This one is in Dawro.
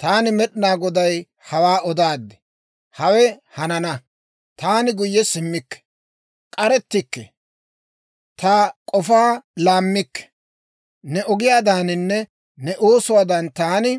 Taani Med'inaa Goday hawaa odaad; hawe hanana. Taani guyye simmikke; k'arettikke; ta k'ofaa laammikke. Ne ogiyaadaaninne ne oosuwaadan, taani